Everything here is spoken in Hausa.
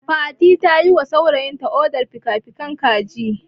Fatima ta yiwa saurayinta odar fikafikin kaji.